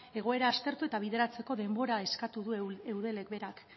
egoera aztertu eta bideratzeko denbora eskatu du eudelek berak